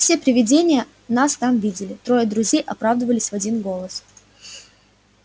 все привидения нас там видели трое друзей оправдывались в один голос